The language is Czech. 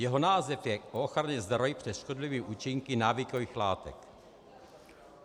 Jeho název je o ochraně zdraví před škodlivými účinky návykových látek.